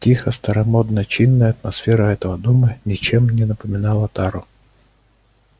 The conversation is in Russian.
тихая старомодно чинная атмосфера этого дома ничем не напоминала тару